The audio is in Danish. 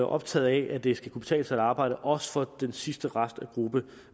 optaget af at det skal kunne betale sig at arbejde også for den sidste restgruppe